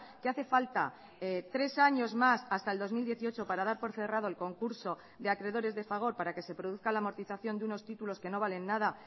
que hace falta tres años más hasta el dos mil dieciocho para dar por cerrado el concurso de acreedores de fagor para que se produzca la amortización de unos títulos que no valen nada